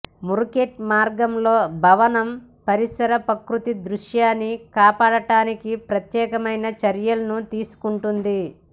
ముర్కుట్ మార్గం లో భవనం పరిసర ప్రకృతి దృశ్యాన్ని కాపాడటానికి ప్రత్యేకమైన చర్యలను తీసుకుంటుంది